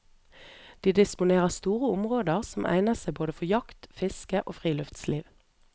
De disponerer store områder som egner seg for både jakt, fiske og friluftsliv.